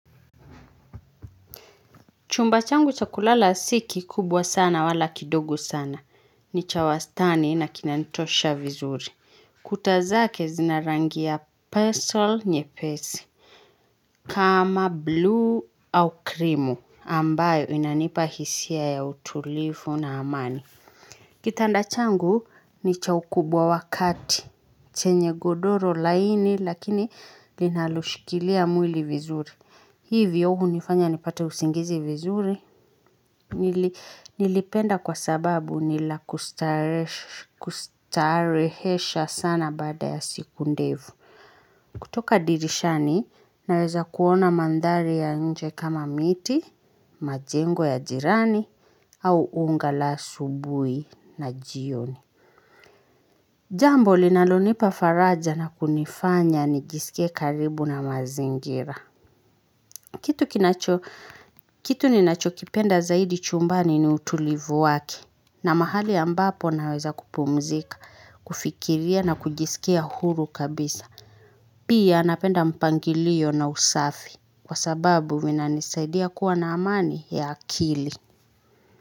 Chumba changu cha kulala si kikubwa sana, wala kidogu sana. Ni cha wastani na kinanitosha vizuri. Kuta zake zina rangi ya pestle nyepesi. Kama bluu au krimu ambayo inanipa hisia ya utulifu na amani. Kitanda changu ni cha ukubwa wa kati. Chenye godoro laini, lakini linaloshikilia mwili vizuri. Hivyo, hunifanya nipate usingizi vizuri. Nilipenda kwa sababu ni la kustarehesha sana baada ya siku ndefu. Kutoka dirishani, naweza kuona mandhari ya nje kama miti, majengo ya jirani, au unga la subuhi na jioni. Jambo, linalonipa faraja na kunifanya nijisikie karibu na mazingira. Kitu ni nacho kipenda zaidi chumbani ni utulivu wake. Na mahali ambapo naweza kupumzika, kufikiria na kujisikia huru kabisa. Pia, napenda mpangilio na usafi, kwa sababu vinanisaidia kuwa na amani ya akili.